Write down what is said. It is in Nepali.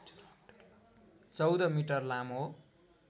१४ मिटर लामो